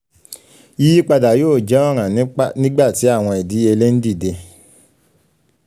yiyipada yoo jẹ ọran nigbati awọn idiyele n dide